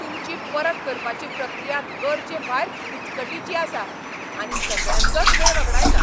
तुमची परत करपाची प्रक्रिया गरजेभायर किचकटीची आसा आनी सगळ्यांचोच वेळ वगडायता.